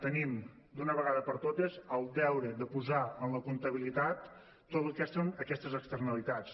tenim d’una vegada per totes el deure de posar en la comptabilitat totes aquestes externalitats